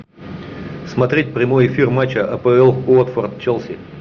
смотреть прямой эфир матча апл уотфорд челси